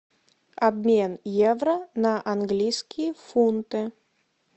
обмен евро на английские фунты